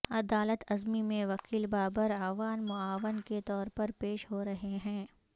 عدالت عظمی میں وکیل بابر اعوان معاون کے طور پر پیش ہورہے ہیں